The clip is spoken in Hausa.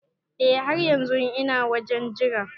Eh har yanzun ina wajen Jira.